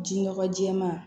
Ji nɔgɔ jɛɛma